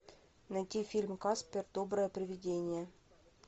найти фильм каспер доброе привидение